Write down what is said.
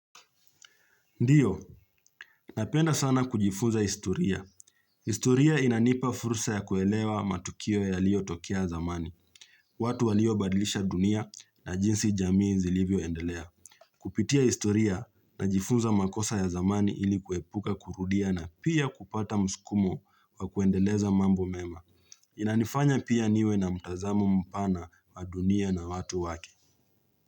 Ndiyo, napenda sana kujifunza historia. Historia inanipa fursa ya kuelewa matukio ya lio tokea zamani. Watu walio badilisha dunia na jinsi jamii zilivyo endelea. Kupitia historia na jifunza makosa ya zamani ilikuepuka kurudia na pia kupata mskumo wa kuendeleza mambo mema. Inanifanya pia niwe na mtazamo mpana wa dunia na watu wake.